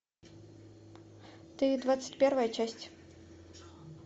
ты двадцать первая часть